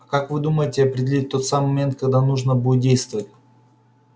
а как вы думаете определить тот самый момент когда нужно будет действовать